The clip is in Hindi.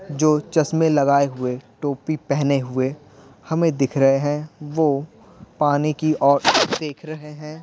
जो चश्मे लगाए हुए टोपी पहने हुए हमें दिख रहे हैं वह पानी की और देख रहे हैं।